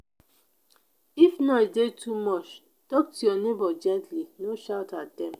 if noise dey too much talk to your neighbor gently; no shout at dem.